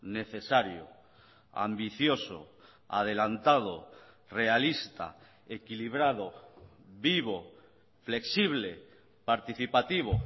necesario ambicioso adelantado realista equilibrado vivo flexible participativo